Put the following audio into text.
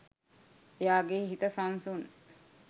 එයාගේ හිත සංසුන්